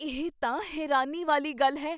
ਇਹ ਤਾਂ ਹੈਰਾਨੀ ਵਾਲੀ ਗੱਲ ਹੈ!